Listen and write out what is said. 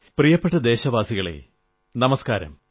പ്രിയപ്പെട്ട ദേശവാസികളേ നമസ്കാരം